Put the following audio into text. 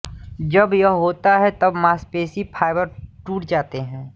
जब यह होता है तब मांसपेशी फाइबर टूट जाते हैं